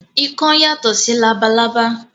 Ikán yàtọ̀ sí labalábá